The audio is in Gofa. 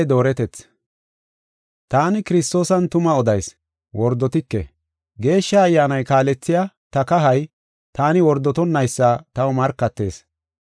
Taani Kiristoosan tuma odayis, wordotike. Geeshsha Ayyaanay kaalethiya ta kahay taani wordotonnaysa taw markatees.